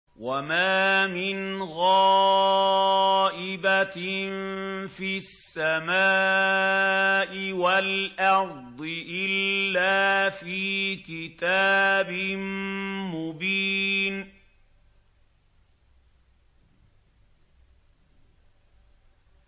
وَمَا مِنْ غَائِبَةٍ فِي السَّمَاءِ وَالْأَرْضِ إِلَّا فِي كِتَابٍ مُّبِينٍ